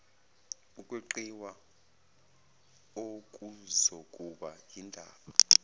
ukweqiwa okuzokuba yindaba